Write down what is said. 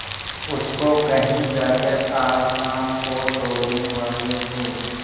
उसको कहीं जाकर आज शाम को तोड़ने वाले हों